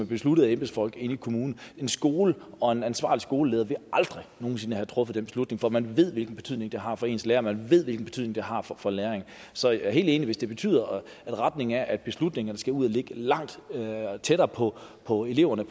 besluttet af embedsfolk ved kommunen en skole og en ansvarlig skoleleder ville aldrig nogen sinde have truffet den beslutning for man ved hvilken betydning det har for ens lærere og man ved hvilken betydning det har for læringen så jeg er helt enig hvis det betyder at retningen er at beslutningerne skal ud og ligge langt tættere på på eleverne